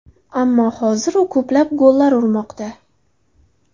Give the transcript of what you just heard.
Ammo hozir u ko‘plab gollar urmoqda.